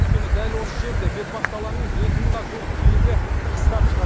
өйткені дәл осы жерде бетпақдаланың екі мыңға жуық киігі қыстап шығады